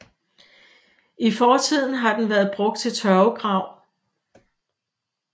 I fortiden har den været brugt til tørvegrav